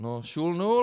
No šul nul.